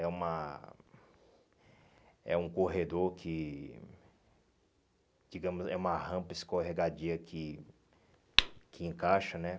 É uma... É um corredor que... Digamos, é uma rampa escorregadia que que encaixa, né?